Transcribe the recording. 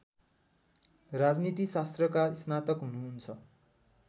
राजनीतिशास्त्रका स्नातक हुनुहुन्छ